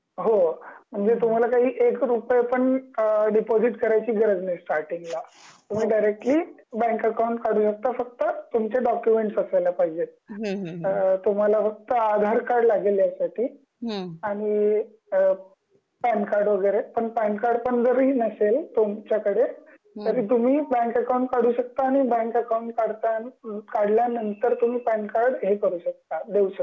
हो.. म्हणजे तुम्हाला काही एक रुपया पण डिपॉजिट करायची गरज नाही स्टार्टींग ला तुम्ही डिरेक्टली बँक अकाउंट काढू शकता फक्त तुमचे डॉक्युमेंट्स असायला पाहिजेत. तुम्हाला फक्त आधार कार्ड लागेल या साठी आणि पॅन कार्ड वगैरे पण पॅन कार्ड पण जरी नसेल तुमच्या कडे. तरी तुम्ही बँक अकाउंट काढू शकता आणि बँक अकाउंट काढतां काढल्या नंतर तुम्ही पॅन कार्ड हे करू शकता देऊ शकता तिकडं.